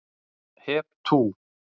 Hep tú!